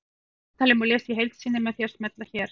Viðtalið má lesa í heild sinni með því að smella hér